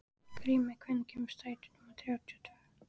Grímey, hvenær kemur strætó númer þrjátíu og tvö?